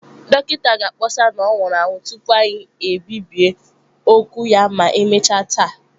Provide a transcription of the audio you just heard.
Dọkịta ga-akpọsa na ọ nwụrụ anwụ tupu anyị ebibie okwu ya ma emechaa taa.